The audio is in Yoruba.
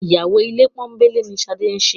Ìyàwó ilé pọ́nńbélé ni Ṣadé ń ṣe